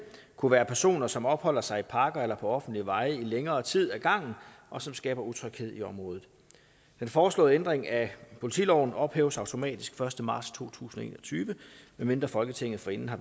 kunne være personer som opholder sig i parker eller på offentlige veje i længere tid ad gangen og som skaber utryghed i området den foreslåede ændring af politiloven ophæves automatisk den første marts to tusind og en tyve medmindre folketinget forinden har